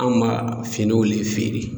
Anw ma finiw le feere.